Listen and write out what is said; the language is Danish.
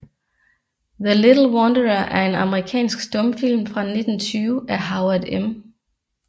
The Little Wanderer er en amerikansk stumfilm fra 1920 af Howard M